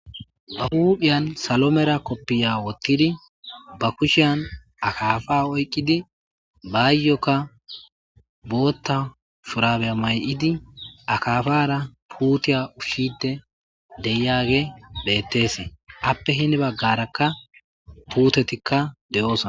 Ba huudphiyan salomera koppiya wottidi ba kushiyan akaafa oyqqidi baayyokka bootta purabeya may'idi akaafara puutiya ufide deyage beettes appe hini baggarakka puutetikka de'oosona